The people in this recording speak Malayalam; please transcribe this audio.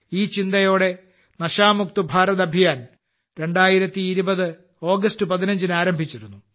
ഈ ചിന്തയോടെ ലഹരി മുക്ത ഭാരത് അഭിയാൻ 2020 ഓഗസ്റ്റ് 15 ന് ആരംഭിച്ചിരുന്നു